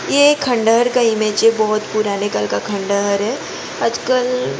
यह खंडहर का इमेज है बहुत पुराने कल का खंडहर है आजकल --